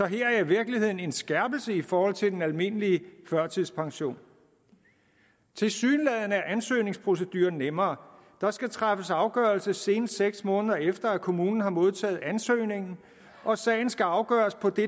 her er i virkeligheden en skærpelse i forhold til den almindelige førtidspension tilsyneladende er ansøgningsproceduren nemmere der skal træffes afgørelse senest seks måneder efter at kommunen har modtaget ansøgningen og sagen skal afgøres på det